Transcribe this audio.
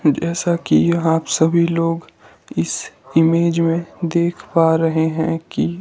जैसा कि आप सभी लोग इस इमेज में देख पा रहे हैं कि--